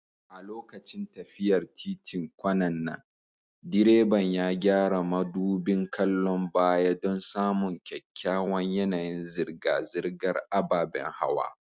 A lokacin tafiyar titin kwanan nan, direban ya gyara madubin kallon baya don samun kyakkyawan yanayin zirga-zirgar ababen hawa.